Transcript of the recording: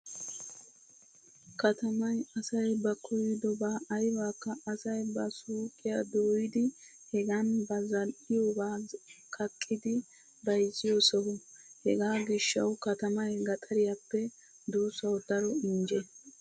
Katamay asay ba koyyidoba aybakka asay ba suuqiya dooyidi hegan ba zal"iyoba kaqqidi bayzziyo soha. Hegaa gishshawu katamay gaxariyaple duussawu daro injje.